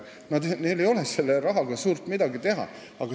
Neil ei ole selle rahaga suurt midagi teha.